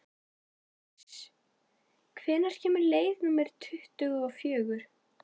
París, hvenær kemur leið númer tuttugu og fjögur?